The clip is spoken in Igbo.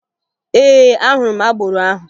Ee, ahụrụ m agboro ahụ